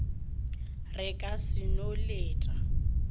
re ka se no leta